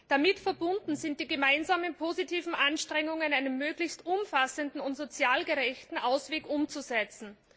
Damit verbunden sind die gemeinsamen positiven Anstrengungen, einen möglichst umfassenden und sozial gerechten Ausweg umzusetzen.